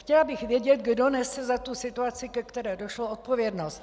Chtěla bych vědět, kdo nesl za tu situaci, ke které došlo, odpovědnost.